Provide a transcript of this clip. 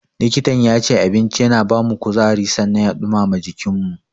Likitan yace, abinci yana bamu kuzari sannan ya ɗumama jikinmu.